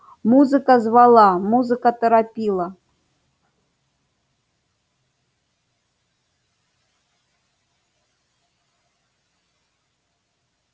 музыка звала музыка торопила